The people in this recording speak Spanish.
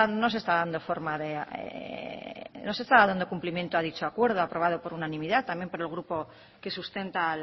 no se estaba dando cumplimiento a dicho acuerdo aprobado por unanimidad también por el grupo que sustenta